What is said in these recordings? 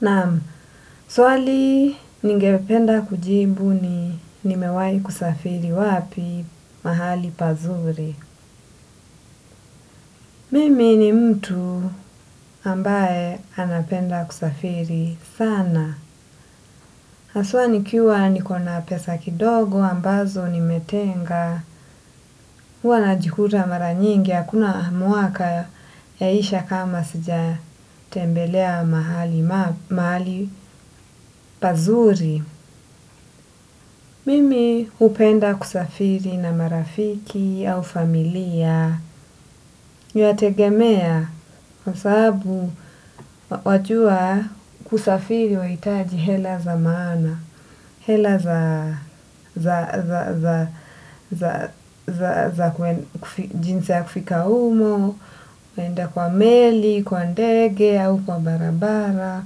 Naam, swali ningependa kujibu ni nimewai kusafiri wapi mahali pazuri. Mimi ni mtu ambaye anapenda kusafiri sana. Haswa nikiwa niko na pesa kidogo ambazo nimetenga. Huwa najikuta mara nyingi hakuna mwaka yaisha kama sijatembelea mahali pazuri. Mimi hupenda kusafiri na marafiki au familia inategemea kwa sababu wajua kusafiri wa unahitaji hela za maana, hela za za jinsi ya kufika humo, kuenda kwa meli, kwa ndege au, kwa barabara.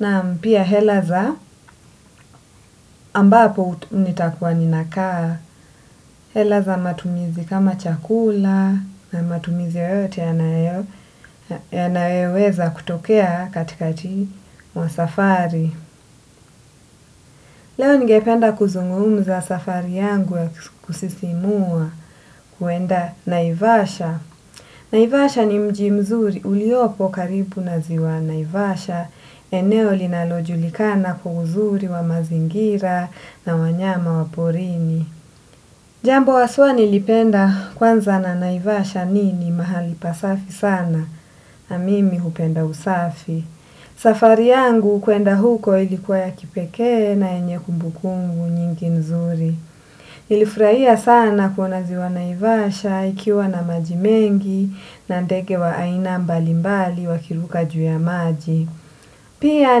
Nam pia hela za ambapo nitakuwa ninakaa. Hela za matumizi kama chakula na matumizi yoyote yanayoweza kutokea katikati wa safari. Leo ningependa kuzungumza safari yangu ya kusisimua kuenda naivasha. Naivasha ni mji mzuri uliopo karibu na ziwa naivasha, eneo linalojulikana kwa uzuri wa mazingira na wanyama wa porini. Jambo haswa nilipenda kwanza na naivasha ni ni mahali pasafi sana na mimi hupenda usafi. Safari yangu kwenda huko ilikuwa ya kipeke na yenye kumbukumbu nyingi nzuri. Nilifurahia sana kuona ziwa naivasha ikiwa na maji mengi na ndege wa aina mbali mbali wakiruka juu ya maji. Pia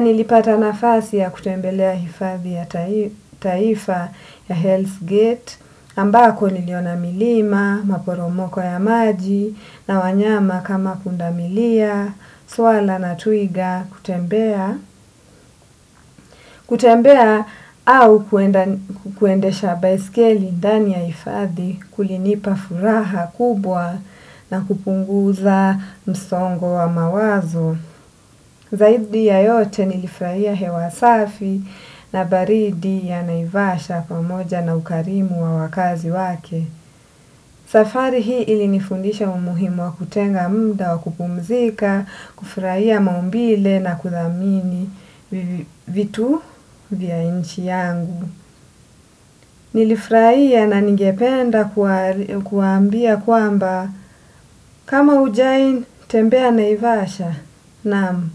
nilipata nafasi ya kutembelea hifadhi ya taifa ya Hells Gate ambako niliona milima, maporomoko ya maji na wanyama kama pundamilia, swara na twiga kutembea. Kutembea au kuendesha baiskeli ndani ya hifadhi kulinipa furaha kubwa na kupunguza msongo wa mawazo. Zaidi ya yote nilifurahia hewa safi na baridi ya naivasha pamoja na ukarimu wa wakazi wake. Safari hii ilinifundisha umuhimu wa kutenga muda wa kupumzika, kufurahia maumbile na kuthamini vitu vya nchi yangu. Nilifurahia na ningependa kuwaambia kwamba kama hujawai tembea naivasha. Nam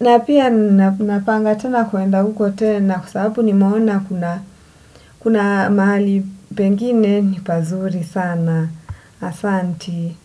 na pia ninapanga tena kuenda huko tena kwa sababu nimeona kuna mahali pengine ni pazuri sana asanti.